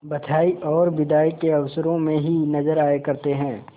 बधाई और बिदाई के अवसरों ही में नजर आया करते हैं